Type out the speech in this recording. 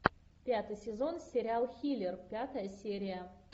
пятый сезон сериал хилер пятая серия